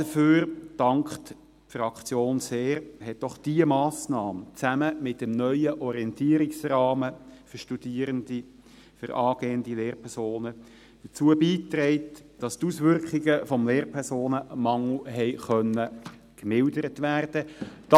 Dafür dankt die Fraktion sehr, hat doch diese Massnahme zusammen mit dem neuen Orientierungsrahmen für Studierende, für angehende Lehrpersonen, dazu beigetragen, dass die Auswirkungen des Lehrpersonenmangels gemildert werden konnten.